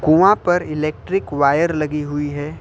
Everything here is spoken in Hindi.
कुआं पर इलेक्ट्रिक वायर लगी हुई है।